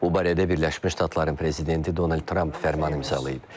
Bu barədə Birləşmiş Ştatların prezidenti Donald Tramp fərman imzalayıb.